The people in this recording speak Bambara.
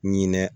Ɲinɛ